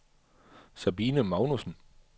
Sabine Magnussen